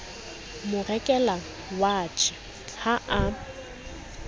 mo rekela watjhe ha a